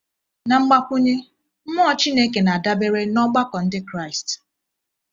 Na mgbakwunye, mmụọ Chineke na-adabere n’ọgbakọ Ndị Kraịst.